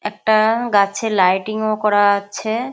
একটা গাছে লাইটিং -ও করা আছে।